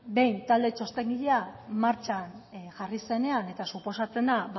behin talde txostengilea martxan jarri zenean eta suposatzen da